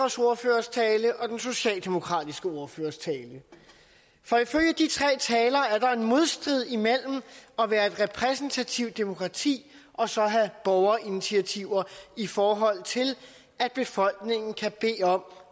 ordførers tale og den socialdemokratiske ordførers tale for ifølge de tre talere er der en modstrid imellem at være et repræsentativt demokrati og så have borgerinitiativer i forhold til at befolkningen kan bede om